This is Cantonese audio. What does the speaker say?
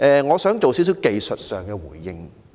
我想作出一些技術上的回應。